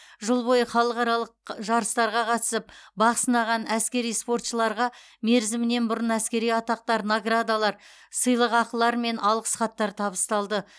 жыл бойы халықаралық жарыстарға қатысып бақ сынаған әскери спортшыларға мерзімінен бұрын әскери атақтар наградалар сыйлықақылар мен алғыс хаттар табысталды